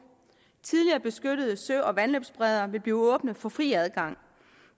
tidligere beskyttede sø og vandløbsbredder vil blive åbne for fri adgang